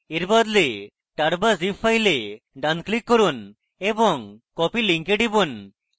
tar বদলে tar বা zip ফেলে ডান click করুন এবং copy link এ টিপুন